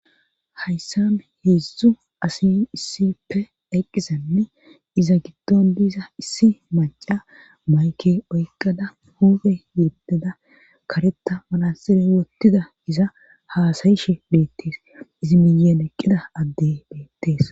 Hayssan heedzdzu asi issippe eqqizanne iza giddon diiza issi macca mayke oykqada huufe yeddeda karetta manaxxire wottida iza haasayishe beettees izi miyyen eqqida adde beettees.